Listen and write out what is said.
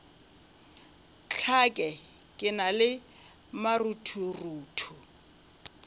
hlake ke na le maruthorutho